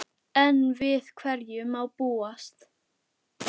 Enn við hverju má búast?